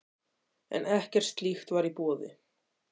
En ekkert slíkt var í boði.